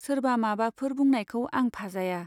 सोरबा माबाफोर बुंनायखौ आं फाजाया।